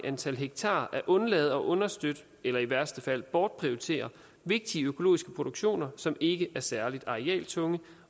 antal hektar at undlade at understøtte eller i værste fald bortprioritere vigtige økologiske produktioner som ikke er særlig arealtunge